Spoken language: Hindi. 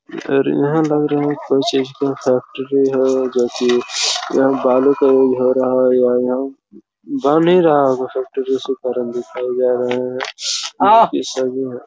और यहाँ लग रहा है की कोई सिस्टम फैक्ट्री है जो की यहाँ बालू का यूज़ हो रहा है या यहाँ बन ही रहा होगा फैक्ट्री के कारण दिखाई जा रहा है बाकी सभी हैं।